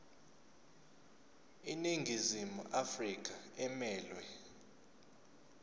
iningizimu afrika emelwe